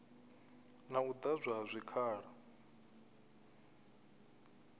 na u ḓadzwa ha zwikhala